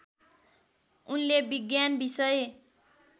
उनले विज्ञान विषय